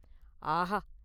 “ஆஹா!